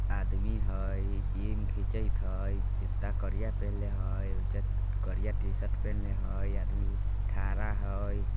आदमी हय चेन खीचत हय जूता करिया पेहनले हय उज्जत करिया टी-शर्ट पहिनले हय आदमी ठहरा हय।